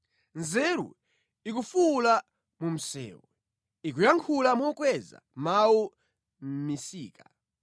Nzeru ikufuwula mu msewu, ikuyankhula mokweza mawu mʼmisika;